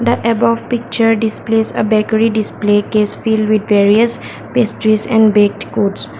the above picture displays a bakery display best cheese and best quotes.